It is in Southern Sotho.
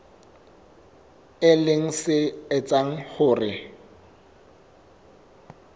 e leng se etsang hore